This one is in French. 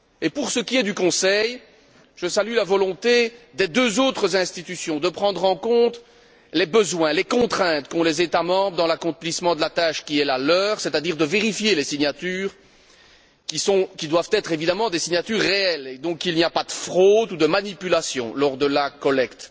Au nom du Conseil, je salue la volonté des deux autres institutions de prendre en compte les besoins, les contraintes pesant sur les États membres dans l'accomplissement de la tâche qui est la leur, c'est à dire de vérifier les signatures qui doivent être évidemment des signatures réelles, et donc qu'il n'y a pas de fraude ou de manipulation lors de la collecte.